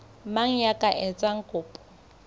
mang ya ka etsang kopo